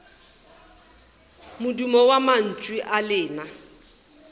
modumo wa mantšu a lena